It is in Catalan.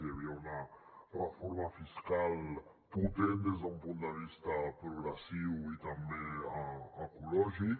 hi havia una reforma fiscal potent des d’un punt de vista progressiu i també ecològic